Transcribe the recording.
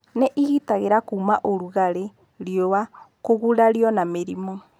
Nĩ ĩgitagĩra kuuma ũrugarĩ, riũa, kũgurario na mũrimũ.